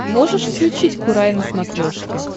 можешь включить курай на смотрешке